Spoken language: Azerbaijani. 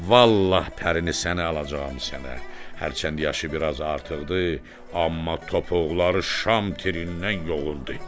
Vallah pərini səni alacağam sənə, hərçənd yaşı biraz artıqdır, amma topuqları şam tirindən yoğundur.